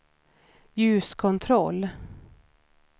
ljuskontroll